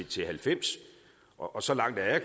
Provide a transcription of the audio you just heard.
til halvfems og så langt er